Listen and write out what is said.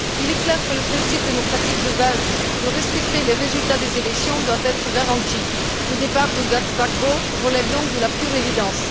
Il est clair que le principe démocratique de base qui consiste à respecter les résultats des élections doit être garanti. Le départ de Gbagbo relève donc de la pure évidence.